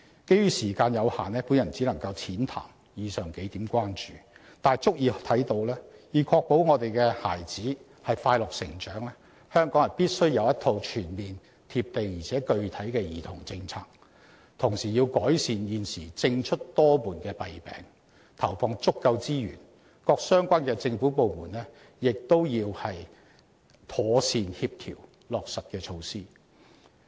基於時間限制，我只能淺談上述數點關注，但已足以看到，要確保我們的孩子快樂成長，香港必須有一套全面、"貼地"且具體的兒童政策，同時要改善現時政出多門的弊病，投放足夠資源，而各相關政府部門亦要妥善協調落實的措施。